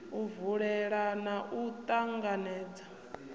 u vula na u ṱanganedza